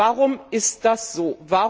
Warum ist das so?